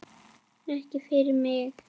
Ekki fyrir mig!